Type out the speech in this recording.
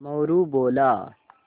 मोरू बोला